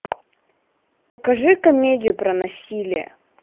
покажи комедию про насилие